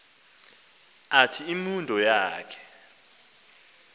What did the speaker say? athi imundo yakhe